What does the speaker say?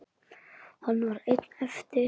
Hann var einn eftir.